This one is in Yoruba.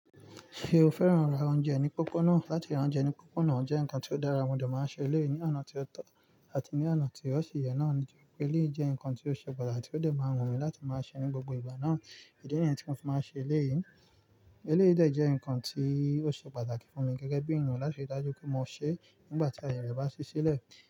Ṣé o fẹ́ràn ra oúnjẹ ní pópónà? Látí rà oúnjẹ ní pópónà jẹ́ ǹkan ti o dára, mo de máa ń ṣe eléyìí ní oná tí ó tọ́ àti ní oná tí ó sì yẹ náà, nítorí pé eléyìí jẹ́ ǹkan tí ó ṣe pàtàkì tó dé máa wù mí láti máa ṣe ní gbogbo ìgbà náà. Ìdí nìyí tí mo fi máa ṣe eléyìí. Eléyìí de jẹ́ ǹkan tí ó ṣe pàtàkì fún mi gẹ́gẹ́ bí ènìyàn láti rí dájú pé mo sè é nígbà tí aaye re bá ṣí sílẹ̀.